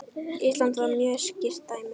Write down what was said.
Ísland var mjög skýrt dæmi.